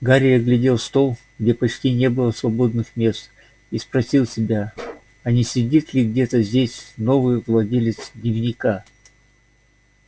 гарри оглядел стол где почти не было свободных мест и спросил себя а не сидит ли где-то здесь новый владелец дневника